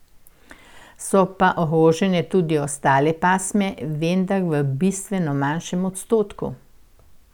So pa ogrožene tudi ostale pasme, vendar v bistveno manjšem odstotku.